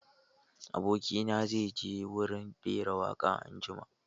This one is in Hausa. Aboki na zai je wurin rera waƙa anjima.